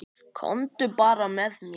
Komdu bara með mér.